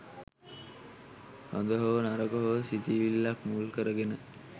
හොඳ හෝ නරක හෝ සිතිවිල්ලක් මුල් කරගෙන